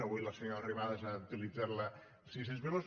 avui la senyora arrimadas ha utilitzat sis cents milions